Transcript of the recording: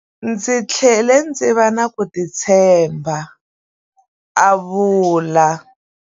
Ndzi tlhele ndzi va na ku titshemba, a vula.